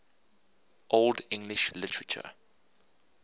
old english literature